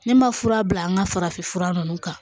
Ne ma fura bila an ka farafin fura nunnu kan